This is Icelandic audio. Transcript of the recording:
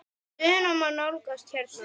Stöðuna má nálgast hérna.